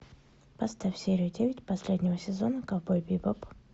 поставь серию девять последнего сезона ковбой бибоп